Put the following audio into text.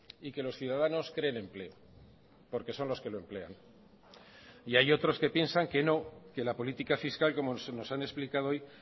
y que los ciudadanos creen empleo porque son los que lo emplean y hay otros que piensan que no que la política fiscal como se nos han explicado hoy